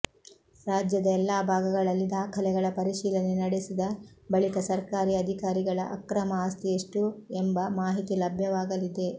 ರಾಜ್ಯದ ಎಲ್ಲಾ ಭಾಗಗಳಲ್ಲಿ ದಾಖಲೆಗಳ ಪರಿಶೀಲನೆ ನಡೆಸಿದ ಬಳಿಕ ಸರ್ಕಾರಿ ಅಧಿಕಾರಿಗಳ ಅಕ್ರಮ ಆಸ್ತಿ ಎಷ್ಟು ಎಂಬ ಮಾಹಿತಿ ಲಭ್ಯವಾಗಲಿದೆ